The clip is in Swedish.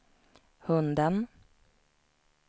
hunden